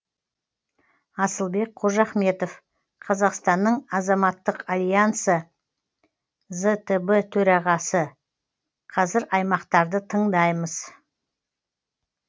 асылбек қожахметов қазақстанның азаматтық альянсы зтб төрағасы қазір аймақтарды тыңдаймыз